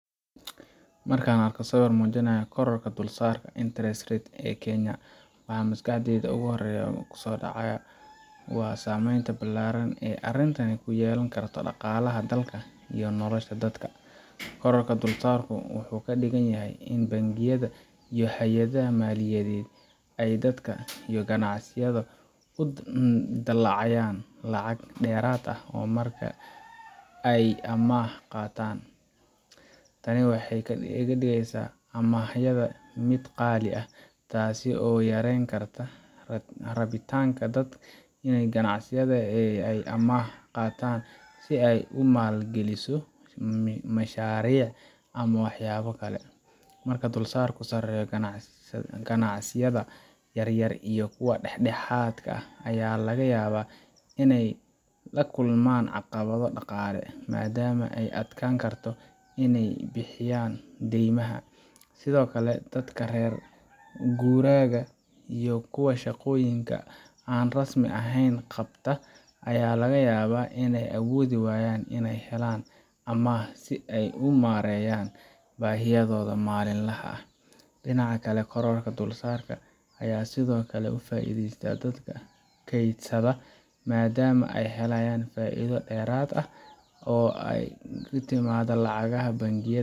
Markaan arko sawir muujinaya kororka dulsaarka interest rate ee Kenya, waxa ugu horreeya ee maskaxdayda ku soo dhacaya waa saameynta ballaaran ee arrintani ku yeelan karto dhaqaalaha dalka iyo nolosha dadka. Kororka dulsaarku wuxuu ka dhigan yahay in bangiyada iyo hay’adaha maaliyadeed ay dadka iyo ganacsiyada ku dalacayaan lacag dheeraad ah marka ay amaah qaataan. Tani waxay ka dhigeysaa amaahda mid qaali ah, taasoo yareyn karta rabitaanka dadka iyo ganacsiyada ee ah in ay amaah qaataan si ay u maalgeliso mashaariic ama waxyaabo kale. Marka dulsaarka sareeyo, ganacsiyada yaryar iyo kuwa dhexdhexaadka ah ayaa laga yaabaa inay la kulmaan caqabado dhaqaale, maadaama ay adkaan karto in ay bixiyaan deymaha. Sidoo kale, dadka reer guuraaga iyo kuwa shaqooyinka aan rasmi ahayn qabta ayaa laga yaabaa inay awoodi waayaan in ay helaan amaah si ay u maareeyaan baahiyahooda maalinlaha ah. Dhinaca kale, kororka dulsaarka ayaa sidoo kale ka faa’iideysta dadka kaydsada, maadaama ay helayaan faa’iido dheeraad ah oo ka timaada lacagaha bangiyada